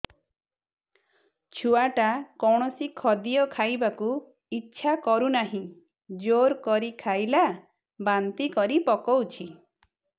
ଛୁଆ ଟା କୌଣସି ଖଦୀୟ ଖାଇବାକୁ ଈଛା କରୁନାହିଁ ଜୋର କରି ଖାଇଲା ବାନ୍ତି କରି ପକଉଛି